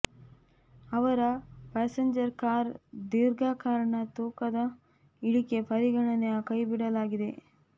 ಅವರ passenger car ದೀರ್ಘ ಕಾರಣ ತೂಕದ ಇಳಿಕೆ ಪರಿಗಣನೆಯ ಕೈಬಿಡಲಾಗಿದೆ